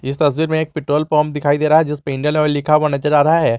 इस तस्वीर में एक पेट्रोल पंप दिखाई दे रहा है जिसपे इंडियन ऑयल लिखा हुआ नजर आ रहा है।